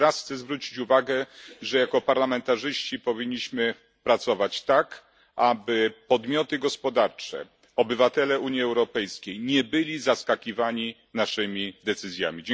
Jeszcze raz chcę zwrócić uwagę na fakt, że jako parlamentarzyści powinniśmy pracować tak, aby podmioty gospodarcze, obywatele Unii Europejskiej, nie byli zaskakiwani naszymi decyzjami.